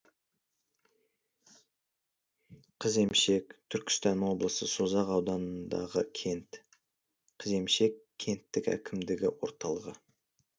қыземшек түркістан облысы созақ ауданындағы кент қыземшек кенттік әкімдігі орталығы